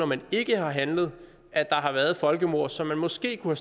man ikke har handlet at der har været folkemord som man måske kunne